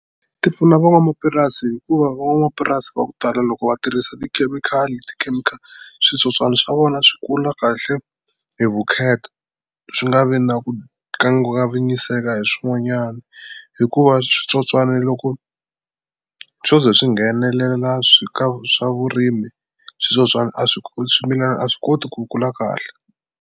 Ti pfuna van'wamapurasi hikuva van'wamapurasi va ku tala loko va tirhisa tikhemikhali switsotswani swa vona swi kula kahle hi vukheta swi nga vi na ku kangiwanyiseka hi swin'wanyani hikuva switsotswani loko swo ze swi nghenelela swi ka swa vurimi switsotswana a swi swimilani a swi koti ku kula kahle.